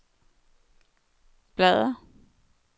bladr